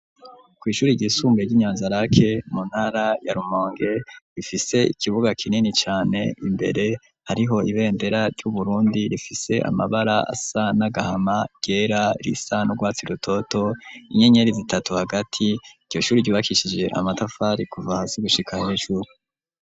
Ku ishuri ryisumbuye ry'I Nyanzarake mu ntara ya Rumonge rifise ikibuga kinini cane imbere hariho ibendera ry'Uburundi rifise amabara asa n'agahama, ryera risa n'urwatsi rutoto, inyenyeri zitatu hagati, iryo shuri ryubakishije amatafari kuva hasi gushika hejuru.